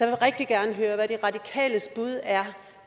vil rigtig gerne høre hvad de radikales bud er